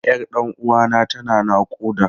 Yar ɗan uwana tana naƙuda.